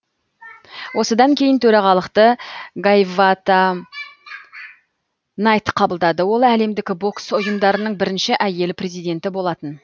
осыдан кейін төрағалықты гайавата найт қабылдады ол әлемдік бокс ұйымдарының бірінші әйел президенті болатын